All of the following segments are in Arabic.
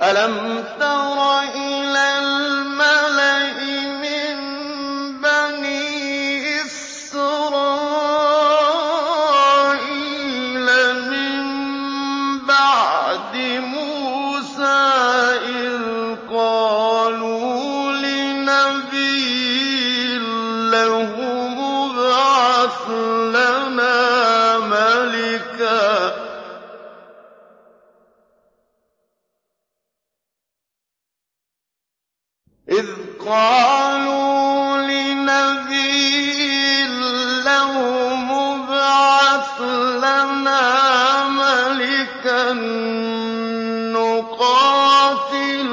أَلَمْ تَرَ إِلَى الْمَلَإِ مِن بَنِي إِسْرَائِيلَ مِن بَعْدِ مُوسَىٰ إِذْ قَالُوا لِنَبِيٍّ لَّهُمُ ابْعَثْ لَنَا مَلِكًا نُّقَاتِلْ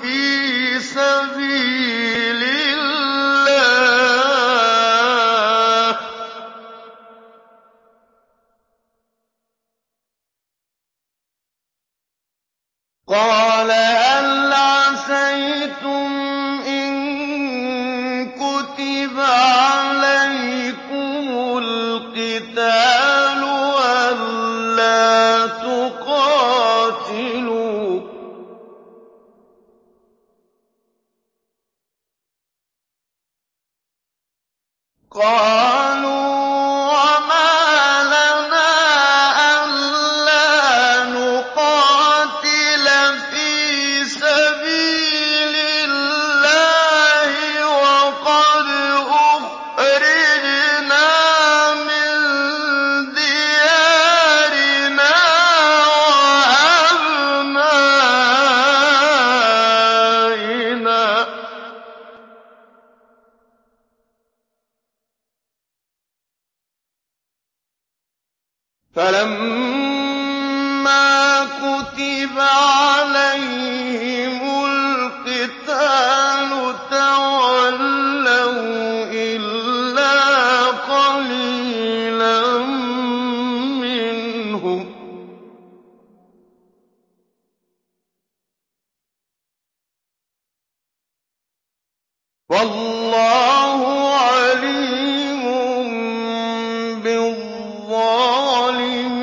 فِي سَبِيلِ اللَّهِ ۖ قَالَ هَلْ عَسَيْتُمْ إِن كُتِبَ عَلَيْكُمُ الْقِتَالُ أَلَّا تُقَاتِلُوا ۖ قَالُوا وَمَا لَنَا أَلَّا نُقَاتِلَ فِي سَبِيلِ اللَّهِ وَقَدْ أُخْرِجْنَا مِن دِيَارِنَا وَأَبْنَائِنَا ۖ فَلَمَّا كُتِبَ عَلَيْهِمُ الْقِتَالُ تَوَلَّوْا إِلَّا قَلِيلًا مِّنْهُمْ ۗ وَاللَّهُ عَلِيمٌ بِالظَّالِمِينَ